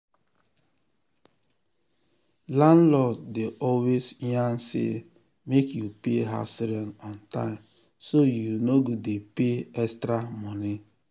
landlord dey always yarn say make you pay house rent on time so you no go dey pay extra money.